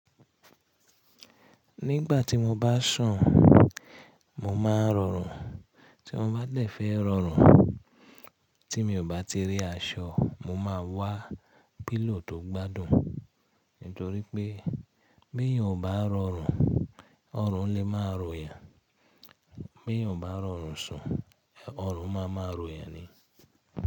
Nígbà tí mo bá sùn mo máa rọrùn tí mo bá dẹ̀ fẹ́ rọrùn tí mi ò bá ti rí aṣọ mo máa wá pílò tó gbádùn nítorí pé bí èèyàn ò bá rọrùn ọrùn lè máa ròyàn bí èèyàn obá rọrùn sùn ọrùn máa ma ròyàn ni.